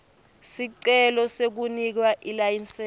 sicelo sekunikwa ilayisensi